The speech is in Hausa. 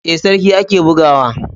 Ee, sarki ake buga wa.